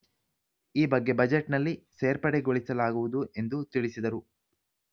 ಈ ಬಗ್ಗೆ ಬಜೆಟ್‌ನಲ್ಲಿ ಸೇರ್ಪಡೆಗೊಳಿಸಲಾಗುವುದು ಎಂದು ತಿಳಿಸಿದರು